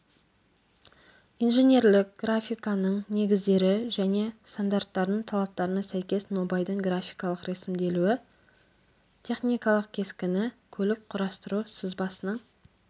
инженерлік графиканың негіздері және стандарттардың талаптарына сәйкес нобайдың графикалық рәсімделуі техникалық кескіні көлік құрастыру сызбасының